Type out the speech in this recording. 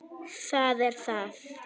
Það er það.